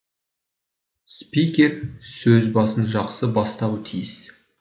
спикер сөзбасын жақсы бастауы тиіс